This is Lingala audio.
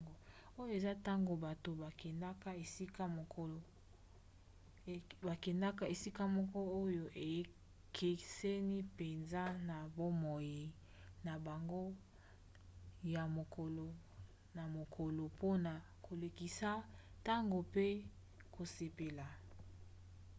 oyo eza ntango bato bakendaka esika moko oyo ekeseni mpenza na bomoi na bango ya mokolo na mokolo mpona kolekisa ntango pe kosepela